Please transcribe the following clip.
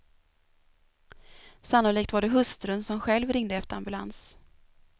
Sannolikt var det hustrun, som själv ringde efter ambulans.